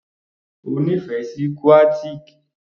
O nífẹ̀ẹ́ sí Qatiq?